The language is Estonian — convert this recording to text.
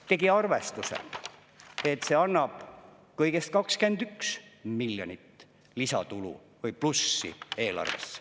… tegi arvestuse, et see annab kõigest 21 miljonit lisatulu või plussi eelarvesse.